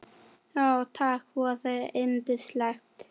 Já takk, voða indælt